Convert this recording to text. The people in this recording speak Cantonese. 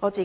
我參